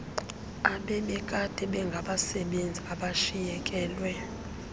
ebebekade bengabasebenzi abashiyekelwe